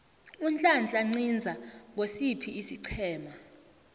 unhlanhla nciza ngosiphi isiqhema